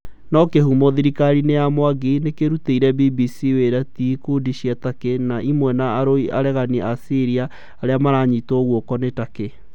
No kihumo thirikariini ya Mwangi nikirutiire BBC wira ti ikundi cia Turkey, ni imwe na arui a aregani a Syara aria maranyitwo guoko niTurkey